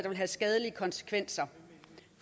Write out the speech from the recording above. vil have skadelige konsekvenser